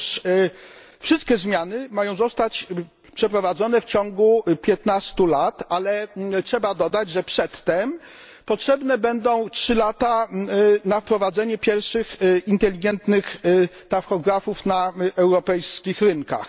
Otóż wszystkie zmiany mają zostać wprowadzone w ciągu 15 lat, ale trzeba dodać, że przedtem potrzebne będą trzy lata na wprowadzenie pierwszych inteligentnych tachografów na europejskich rynkach.